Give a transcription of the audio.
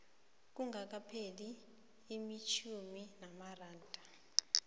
kungakapheli itjhumi lamalanga